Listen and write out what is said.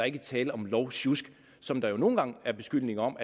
ikke tale om lovsjusk som der jo nogle gange er beskyldninger om